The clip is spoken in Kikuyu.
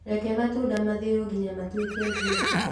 Reke matunda mathĩo nginya matuĩke njuici